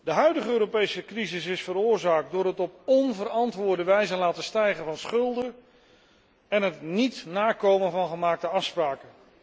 De huidige Europese crisis is veroorzaakt door het op onverantwoorde wijze laten stijgen van schulden en het niet nakomen van gemaakte afspraken.